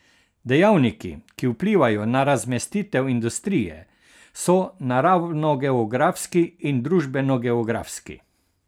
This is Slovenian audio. Dejavniki, ki vplivajo na razmestitev industrije, so naravnogeografski in družbenogeografski.